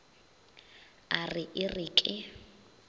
a re e re ke